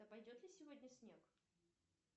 а пойдет ли сегодня снег